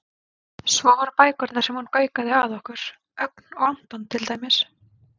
Svo voru bækurnar sem hún gaukaði að okkur, Ögn og Anton til dæmis.